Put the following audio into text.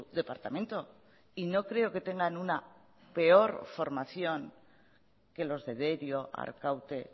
departamento y no creo que tengan una peor formación que los de derio arkaute